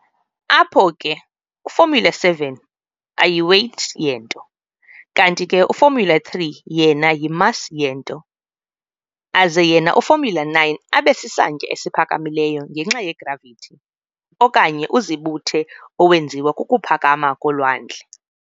apho ke u-formula_7 ayi-weight yento, kanti ke u-formula_3 yena yi-mass yento, aze yena u-formula_9 abe sisantya esiphakamileyo ngenxa ye-gravity okanye uzibuthe owenziwa kukuphakama kolwandle.